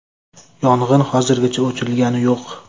Yong‘in hozirgacha o‘chirilgani yo‘q.